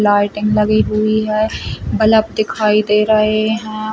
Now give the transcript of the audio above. Lighting लगी हुई है बलब दिखाई दे रहे हैं।